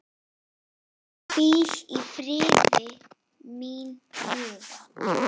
Hvíl í friði, mín ljúfa.